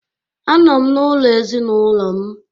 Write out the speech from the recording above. Anọ m n'ụlọ ezinaụlọ m